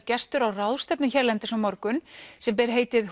gestur á ráðstefnu hérlendis á morgun sem ber heitið